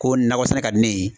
Ko nakɔ sɛnɛ ka di ne ye.